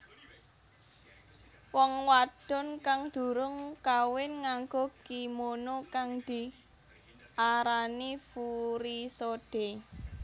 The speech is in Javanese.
Wong wadon kang durung kawin nganggo kimono kang diarani furisode